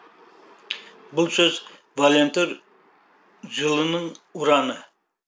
бұл сөз волонтер жылының ұраны